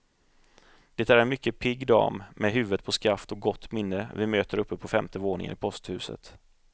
Det är en mycket pigg dam, med huvudet på skaft och gott minne vi möter uppe på femte våningen i posthuset.